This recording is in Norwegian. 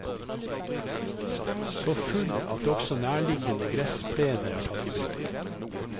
Så full at også nærliggende gressplener er tatt i bruk.